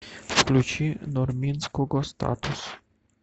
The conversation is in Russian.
включи нурминского статус